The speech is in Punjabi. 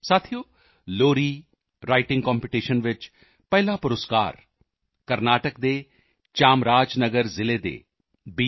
ਸਾਥੀਓ ਲੋਰੀ ਰਾਈਟਿੰਗ ਕੰਪੀਟੀਸ਼ਨ ਵਿੱਚ ਪਹਿਲਾ ਪੁਰਸਕਾਰ ਕਰਨਾਟਕ ਦੇ ਚਾਮਰਾਜ ਨਗਰ ਜ਼ਿਲ੍ਹੇ ਦੇ ਬੀ